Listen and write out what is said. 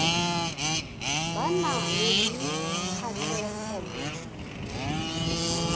ba nang le kgatlhego mo